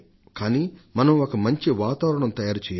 కానీ మనం ఒక మంచి వాతావరణాన్ని తయారు చేయాలి